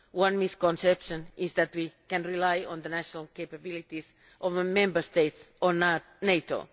One misconception is that we can rely on the national capabilities of Member States or NATO.